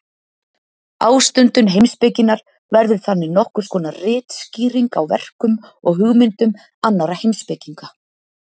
Ástundun heimspekinnar verður þannig nokkurs konar ritskýring á verkum og hugmyndum annarra heimspekinga.